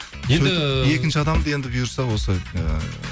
енді екінші адамды енді бұйырса осы ы